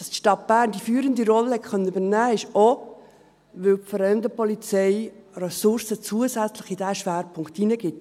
Dass die Stadt Bern die führende Rolle übernehmen konnte, liegt auch daran, dass die Fremdenpolizei Ressourcen zusätzlich in diesen Schwerpunkt hineingibt.